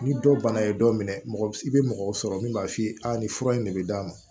Ni dɔ bana ye dɔ minɛ mɔgɔ i bɛ mɔgɔw sɔrɔ min b'a f'i ye a nin fura in de bɛ d'a ma